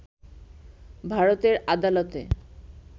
ভারতের আদালতে